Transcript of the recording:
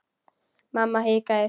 Mamma hikaði.